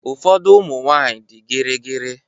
Ụfọdụ ụmụ nwanyị dị gịrịgịrị.